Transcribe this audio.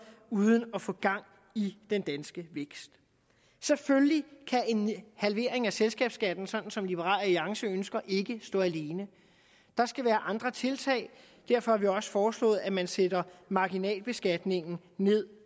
uden at få gang i den danske vækst selvfølgelig kan en halvering af selskabsskatten som liberal alliance ønsker ikke stå alene der skal være andre tiltag derfor har vi også foreslået at man sætter marginalbeskatningen ned